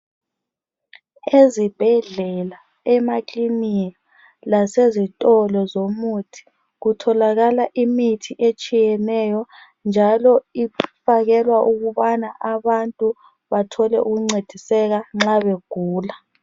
Ezibhedlela emaklinika lasezitolo zomuthi kutholakala imithi etshiyeneyo njalo ifakelwa ukubana abantu bathole ukuncediseka nxa begula